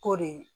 K'o de